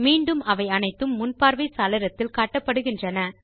மீண்டும் அவை அனைத்தும் முன்பார்வை சாளரத்தில் காட்டப்படுகின்றன